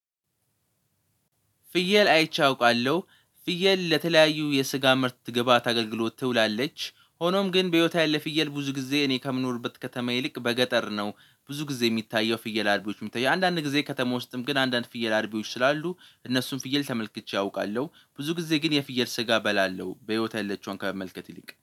ፍየል አይቼ አውቃለሁ። ፍየል ለተለያዩ የስጋ ምርት ግብአት አገልግሎት ትውላለች ሆኖም ግን በህይወት ያለ ፍየል ብዙ ጊዜ እኔ ከምኖርበት ከተማ ይልቅ በገጠር ነው። ብዙ ጊዜ የሚታየው ፍየል አርቢዎች የሚታየው አንዳንድ ጊዜ ከተማ ውስጥም ግን አንዳንድ ፍየል አርቢዎች ስላሉ እነሱን ፍየል ተመልክቼ አውቃለሁ። ብዙ ጊዜ ግን የፍየል ስጋ በላለው በህይወት ያለችውን ከመመልከት ይልቅ